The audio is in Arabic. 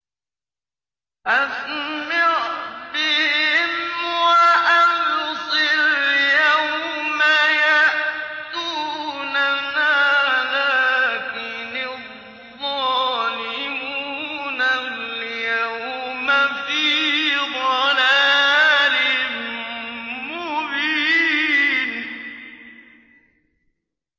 أَسْمِعْ بِهِمْ وَأَبْصِرْ يَوْمَ يَأْتُونَنَا ۖ لَٰكِنِ الظَّالِمُونَ الْيَوْمَ فِي ضَلَالٍ مُّبِينٍ